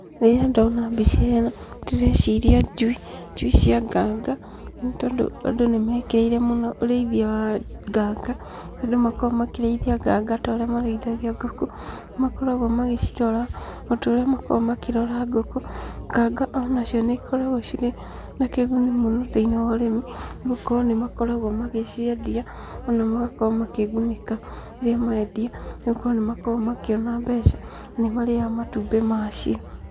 Rĩrĩa ndona mbica ĩno ndĩreciria njui, njui cia nganga, nĩ tondũ andũ nĩ mekĩrĩire mũno ũrĩithia wa nganga, andũ nĩ makoragwo makĩrĩithia nganga ta ũrĩa makoragwo makĩrĩithia ngũkũ, na nĩ makoragwo magĩcirora o ta ũrĩa makoragwo makĩrora ngũkũ, nganga o nacio nĩ cikoragwo cirĩ na kĩguni mũno thĩiniĩ wa ũrĩmi, nĩ gũkorwo nĩ makoragwo magĩciendia, ona magakorwo makĩgunĩka rĩrĩa mendia, nĩgũkorwo nĩ makoragwo makĩona mbeca na nĩ marĩaga matumbĩ macio.